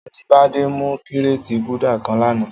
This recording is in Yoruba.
Ajibade mú kiréti Gúdà kãn lànã